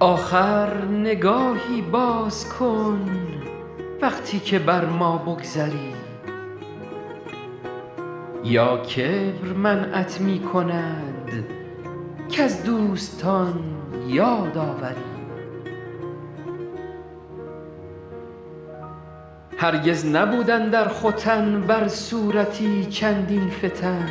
آخر نگاهی باز کن وقتی که بر ما بگذری یا کبر منعت می کند کز دوستان یاد آوری هرگز نبود اندر ختن بر صورتی چندین فتن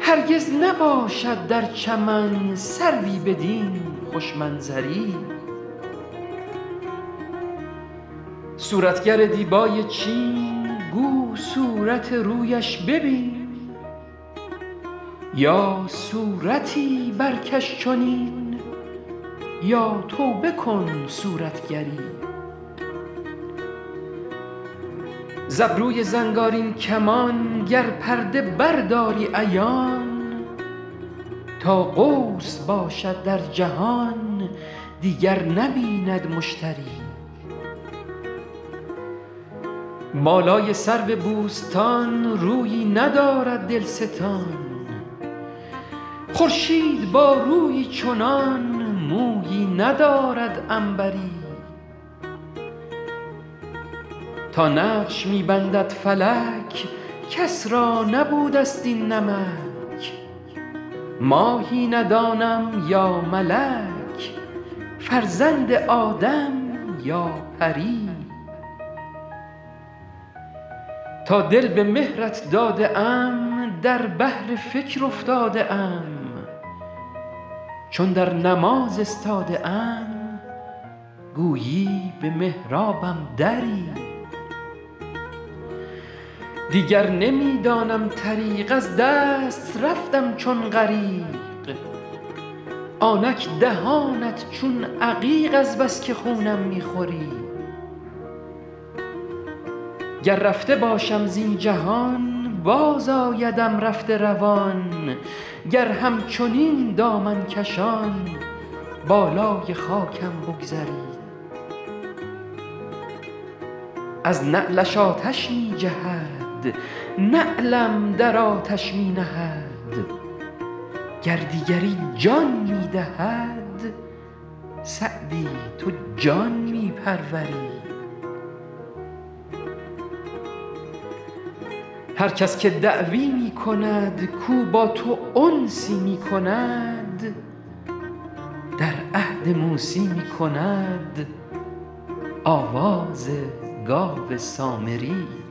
هرگز نباشد در چمن سروی بدین خوش منظری صورتگر دیبای چین گو صورت رویش ببین یا صورتی برکش چنین یا توبه کن صورتگری ز ابروی زنگارین کمان گر پرده برداری عیان تا قوس باشد در جهان دیگر نبیند مشتری بالای سرو بوستان رویی ندارد دلستان خورشید با رویی چنان مویی ندارد عنبری تا نقش می بندد فلک کس را نبوده ست این نمک ماهی ندانم یا ملک فرزند آدم یا پری تا دل به مهرت داده ام در بحر فکر افتاده ام چون در نماز استاده ام گویی به محرابم دری دیگر نمی دانم طریق از دست رفتم چون غریق آنک دهانت چون عقیق از بس که خونم می خوری گر رفته باشم زین جهان بازآیدم رفته روان گر همچنین دامن کشان بالای خاکم بگذری از نعلش آتش می جهد نعلم در آتش می نهد گر دیگری جان می دهد سعدی تو جان می پروری هر کس که دعوی می کند کاو با تو انسی می کند در عهد موسی می کند آواز گاو سامری